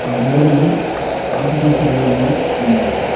ఆ గోడలు ఆకుపచ్చ కలర్ లో ఉన్నవి.